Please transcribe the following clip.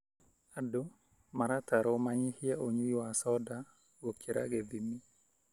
Andũ maratarwo manyihie ũnyui wa soda gũkira gĩthimi.